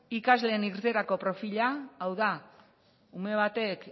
ikasleen irteerako profila hau da ume batek